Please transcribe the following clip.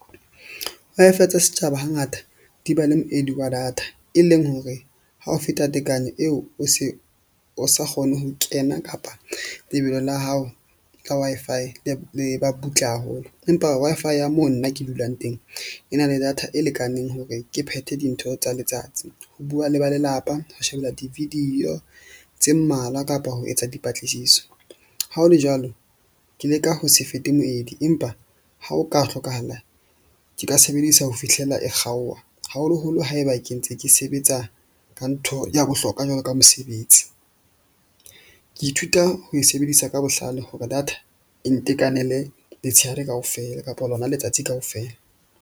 Wi-Fi tsa setjhaba hangata di ba le moedi wa data, e leng hore ha ho feta tekanyo eo o se o sa kgone ho kena kapa lebelo la hao la Wi-Fi le ba butle haholo. Empa Wi-Fi ya mo nna ke dulang teng. E na le data e lekaneng hore ke phethe dintho tsa letsatsi. Ho bua le ba lelapa ho shebella di-video tse mmalwa kapa ho etsa dipatlisiso. Ha ho le jwalo, ke leka ho se fete moedi, empa ha o ka hlokahala, ke ka sebedisa ho fihlela e kgaoha. Haholoholo haeba ke ntse ke sebetsa ka ntho ya bohlokwa jwalo ka mosebetsi. Ke ithuta ho e sebedisa ka bohlale hore data e ntekanele letshehare kaofela kapa lona letsatsi kaofela.